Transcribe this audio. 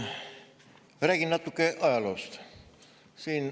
Ma räägin natuke ajaloost.